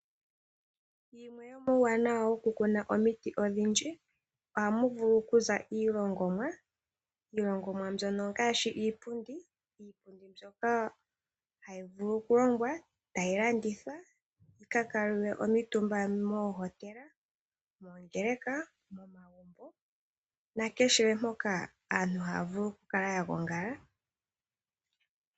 Yimwe yo muuwanawa wokukuna omiti odhindji aamu vulu kuza iilongomwa, iilongomwa mbyono ngaashi iipundi mbyoka hayi vulu kulongwa etayi landithwa yi ka ka kuutumbwa mooHotela, moongeleka naampoka aantu haya vulu oku kala yagongala.